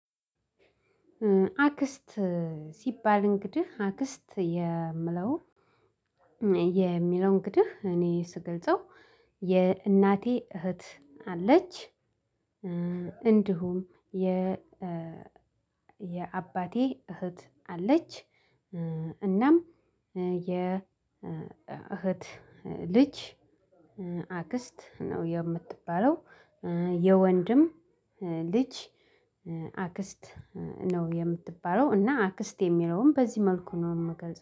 አክስት ሲባል እንግዲህ አክስት የምለው። የሚለው እንግዲህ እኔ ስገልጸው የእናቴ እህት አለች። እንዲሁም የ የአባቴ እህት አለች። እናም የእህት ልጅ አክስት ነው የምትባለው። የወንድም ልጅ አክስት ነው የምትባለው። እና አክስት የሚለውን በዚህ መልኩ ነው የምገልጸው